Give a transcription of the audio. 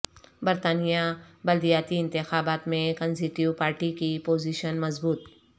برطانیہ بلدیاتی انتخابات میں کنزریٹو پارٹی کی پوزیشن مضبوط